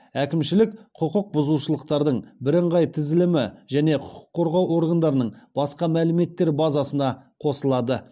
әкімшілік құқық бұзушылықтардың бірыңғай тізілімі және құқық қорғау органдарының басқа мәліметтер базасына қосылады